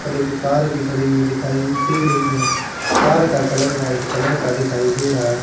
उपर एक कार भी खड़ी हुई दिखाई दे रही है कार का कलर व्हाइट कलर का दिखाई दे रहा--